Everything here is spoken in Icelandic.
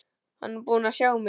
Hann er búinn að sjá mig!